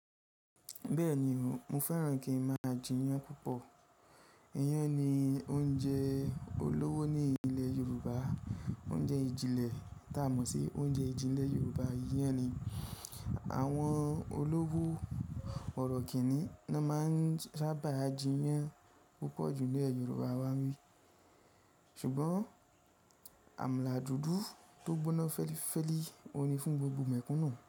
Bẹ́ẹ̀ni o, mo fẹ́ràn kin ma jiyàn púpọ̀. Iyán ni oúnjẹ olówó ní ilẹ̀ Yorùbá. Oúnjẹ ìjìnlẹ̀ tá a mọ̀ sí oúnjẹ ìjìnlẹ̀ Yorùbá iyán ni. Àwọn olówó bọ̀rọ̀kìnní ni wọ́n máa ń sábà jiyàn púpọ̀ jù nilẹ Yorùbá wá bi. Ṣùgbọ́n àmàlà dúdú tó gbóná fẹ́lífẹ́lí òun ni fún gbogbo mẹ̀kúnnù.